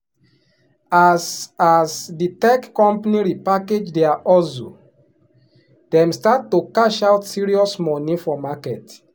as as the tech company repackage their hustle dem start to cash out serious money for market.